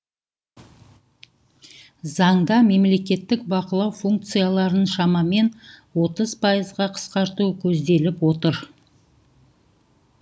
заңда мемлекеттік бақылау функцияларын шамамен отыз пайызға қысқарту көзделіп отыр